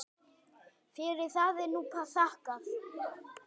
Fyrir það er nú þakkað.